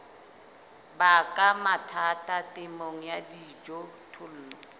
baka mathata temong ya dijothollo